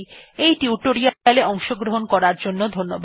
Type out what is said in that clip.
এই টিউটোরিয়াল এ অংশগ্রহণ করার জন্য ধন্যবাদ